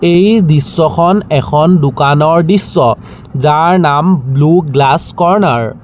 এই দৃশ্যখন এখন দোকানৰ দৃশ্য যাৰ নাম ব্লু গ্লাছ কৰ্ণাৰ ।